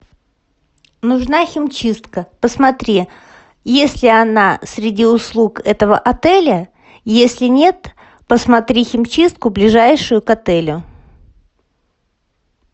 нужна химчистка посмотри есть ли она среди услуг этого отеля если нет посмотри химчистку ближайшую к отелю